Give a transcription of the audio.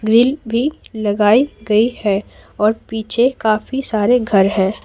Grill भी लगाई गई है और पीछे काफी सारे घर हैं।